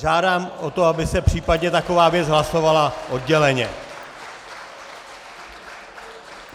Žádám o to, aby se případně taková věc hlasovala odděleně!